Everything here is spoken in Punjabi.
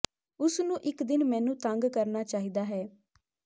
ਉਸ ਨੂੰ ਇੱਕ ਦਿਨ ਮੈਨੂੰ ਤੰਗ ਕਰਨਾ ਚਾਹੀਦਾ ਹੈ